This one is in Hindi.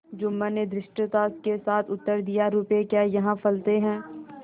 जुम्मन ने धृष्टता के साथ उत्तर दियारुपये क्या यहाँ फलते हैं